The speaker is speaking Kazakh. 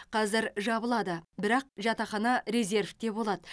қазір жабылады бірақ жатақхана резерьвте болады